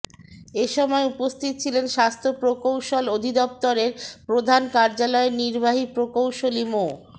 এ সময় উপস্থিত ছিলেন স্বাস্থ্য প্রকৌশল অধিদপ্তরের প্রধান কার্যালয়ের নির্বাহী প্রকৌশলী মো